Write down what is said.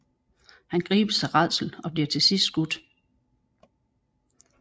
Han gribes af rædsel og bliver til sidst skudt